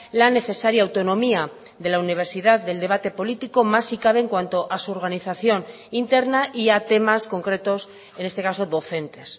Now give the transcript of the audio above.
la necesaria autonomía de la universidad del debate político más si cabe en cuanto a su organización interna y a temas concretos en este caso docentes